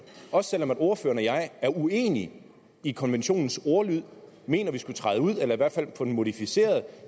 også selv om ordføreren og jeg er uenig i konventionens ordlyd og mener at vi skulle træde ud af den eller i hvert fald få den modificeret